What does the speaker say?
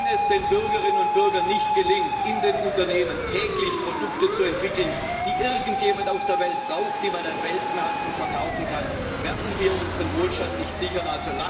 Wenn es den Bürgerinnen und Bürgern nicht gelingt, in den Unternehmen täglich Produkte zu entwickeln, die irgendjemand auf der Welt braucht, die man auf Weltmärkten verkaufen kann, werden wir unseren Wohlstand nicht sichern.